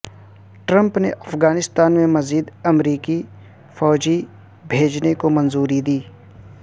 Trump نے افغانستان میں مزید امریکی فوجی بھیجنے کو منظوری دی